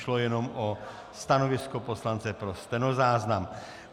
Šlo jenom o stanovisko poslance pro stenozáznam.